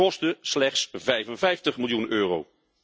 Kosten slechts 55 miljoen euro.